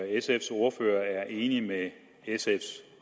sfs ordfører er enig med sfs